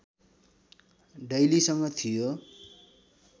डैलीसँग थियो